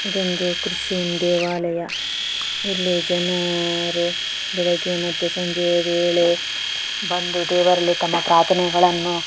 ಇದೊಂದು ಕ್ರಿಶ್ಚಿಯನ್ ದೇವಾಲಯ ಇಲ್ಲಿ ಜನರು ಬೆಳಿಗ್ಗೆ ಮತ್ತು ಸಂಜೆಯ ವೇಳೆ ಬಂದು ದೇವರಲ್ಲಿ ತಮ್ಮ ಪ್ರಾರ್ಥನೆಗಳನ್ನು--